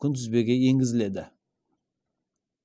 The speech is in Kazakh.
күнтізбеге енгізіледі